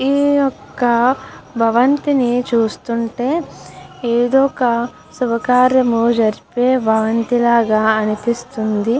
ఈ ఒక భవంతిని చూస్తుంటే ఏదో ఒక శుభకార్యం జరపే భవంతి లాగా అనిపిస్తుంది.